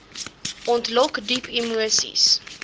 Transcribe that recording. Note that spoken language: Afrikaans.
ontlok diep emoseis